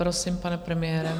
Prosím, pane premiére.